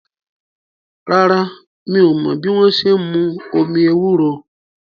Rárá, mi ò mọ́ bí wọ́n ṣe n mú omi ewúro